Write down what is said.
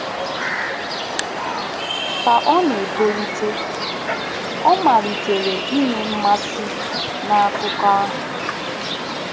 Ka ọ na-etolite, ọ malitere inwe mmasị n'akụkọ ahụ.